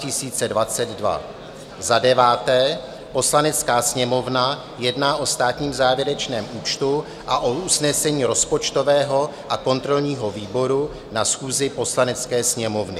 Poslanecká sněmovna jedná o státním závěrečném účtu a o usnesení rozpočtového a kontrolního výboru na schůzi Poslanecké sněmovny.